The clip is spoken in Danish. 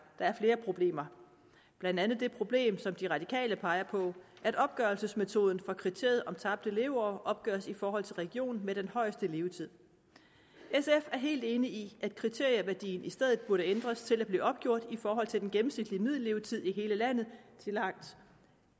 der er flere problemer blandt andet det problem som de radikale peger på at opgørelsesmetoden fra kriteriet om tabte leveår opgøres i forhold til regionen med den højeste levetid sf er helt enig i at kriterieværdien i stedet burde ændres til at blive opgjort i forhold til den gennemsnitlige middellevetid i hele landet tillagt